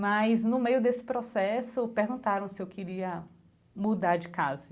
Mas no meio desse processo, perguntaram se eu queria mudar de casa.